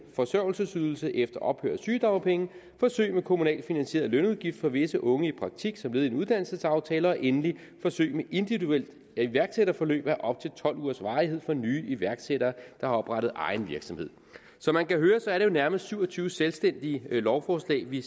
forsørgelsesydelse efter ophør af sygedagpenge forsøg med kommunalt finansieret lønudgift for visse unge i praktik som led i en uddannelsesaftale endelig forsøg med individuelt iværksætterforløb af op til tolv ugers varighed for nye iværksættere der har oprettet egen virksomhed som man kan høre er det jo nærmest syv og tyve selvstændige lovforslag vi